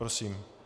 Prosím.